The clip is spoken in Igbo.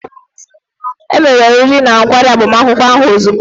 E mere oriri na nkwari agbamakwụkwọ ahụ ozugbo.